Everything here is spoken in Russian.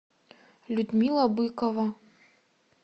людмила быкова